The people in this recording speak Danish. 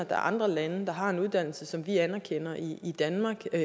er andre lande der har en uddannelse som vi anerkender i danmark og